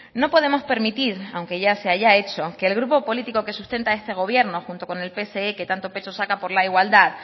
no podemos permitir aunque ya se haya hecho que el grupo político que sustenta esta gobierno junto con el pse que tanto pecho saca por la igualdad